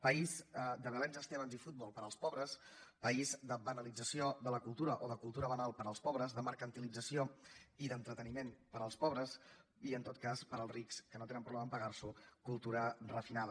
país de belens estebans i futbol per als pobres país de banalització de la cultura o de cultura banal per als pobres de mercantilització i d’entreteniment per als pobres i en tot cas per als rics que no tenen problema a pagar s’ho cultura refinada